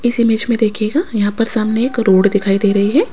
इस इमेज में देखिएगा यहां पर सामने एक रोड दिखाई दे रही है।